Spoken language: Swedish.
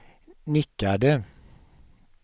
nickade